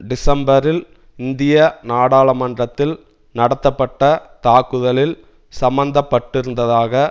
டிசம்பரில் இந்திய நாடாளுமன்றத்தில் நடத்தப்பட்ட தாக்குதலில் சம்பந்தப்பட்டிருப்பதாக